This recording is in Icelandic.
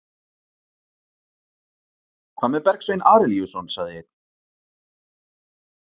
Hvað með Bergsvein Arilíusson, sagði einn?